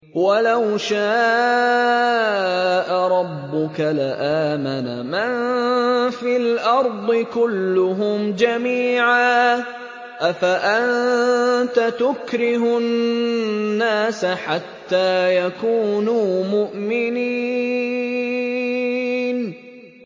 وَلَوْ شَاءَ رَبُّكَ لَآمَنَ مَن فِي الْأَرْضِ كُلُّهُمْ جَمِيعًا ۚ أَفَأَنتَ تُكْرِهُ النَّاسَ حَتَّىٰ يَكُونُوا مُؤْمِنِينَ